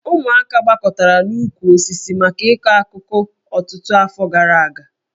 Ụmụaka gbakọtara n'okpuru osisi maka ịkọ akụkọ ọtụtụ afọ gara aga